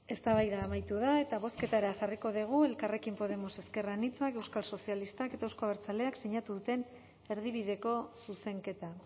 eztabaida amaitu da eta bozketara jarriko dugu elkarrekin podemos ezker anitza euskal sozialistak eta euzko abertzaleak sinatu duten erdibideko zuzenketa